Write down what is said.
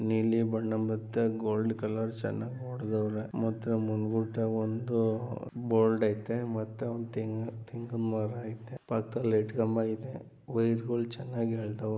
ನೀಲಿ ಬಣ್ಣದ ಮಧ್ಯ ಗೋಲ್ಡನ್‌ ಕಲರ್‌ ಜನರು ಹೊಡೆಯುತ್ತಿದ್ದಾರೆ ಮುಂದುಗಡೆ ಒಂದು ಬೋರ್ಡ್‌ ಇದೆ ಮತ್ತೆ ಒಂದು ತೆಂಗಿನ ಮರ ಇದೆ ಪಕ್ಕದಲ್ಲಿ ಲೈಟ್‌ ಕಂಬ ಇದೆ ವೈರ್‌ಗಳನ್ನು ಚೆನ್ನಾಗಿ ಎಳೆದಿದ್ದಾರೆ